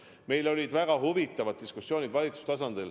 Meil olid väga huvitavad diskussioonid valitsuse tasandil.